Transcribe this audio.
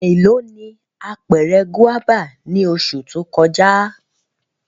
Elo ni apẹrẹ guaba ni oṣu to kọja?